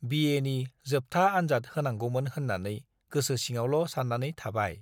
बिएनि जोबथा आन्जाद होनांगौमोन होन्नानै गोसो सिङावल' सान्नानै थाबाय ।